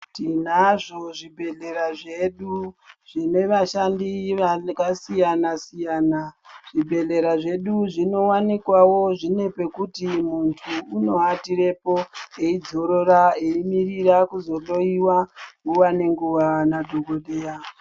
Tinazvo zvibhehlera zvedu zvine vashandi vane vakasiyana siyana zvibhehlera zvedu zvinowanikwa wozvinepekuti muntu unowatirepo eidzorora eimirira kuzohloyiwa nguwa ne nguwa nadhoko dheya